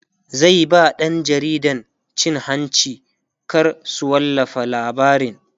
zai ba ɗan jaridan cin hanci kar su wallafa labarin